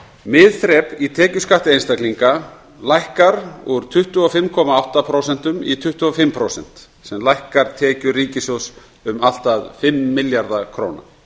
miðþrep í tekjuskatti einstaklinga lækkar úr tuttugu og fimm komma átta prósent í tuttugu og fimm prósent sem lækkar tekjur ríkissjóðs um allt að fimm milljarða króna